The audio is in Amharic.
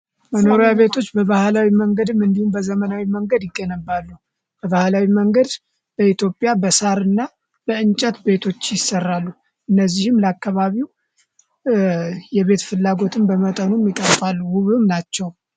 በባህላዊ መንገድም እንዲሁም በዘመናዊ መንገድ ይገነባሉ ባህላዊ መንገድ በኢትዮጵያና በእንጨት ቤቶች ይሰራሉ እነዚህም ላከባቢው የቤት ፍላጎትን በመጠኑም ናቸው